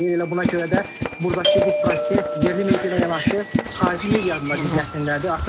Elə buna görə də burdakı bu proses yerli media ilə yanaşı xarici medianın da diqqətindədir.